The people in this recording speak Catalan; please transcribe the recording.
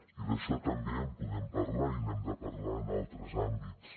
i d’això també en podem parlar i n’hem de parlar en altres àmbits